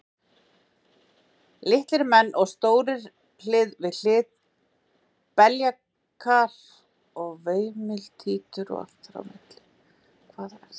Litlir menn og stórir hlið við hlið, beljakar og veimiltítur og allt þar á milli.